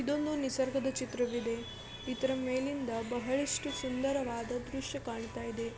ಇದೊಂದು ನಿಸರ್ಗದ ಚಿತ್ರವಿದೆ. ಇದರ ಮೇಲಿಂದ ಬಹಳಷ್ಟು ಸುಂದರವಾದ ದೃಶ್ಯ ಕಾಣ್ತಾಯಿದೆ.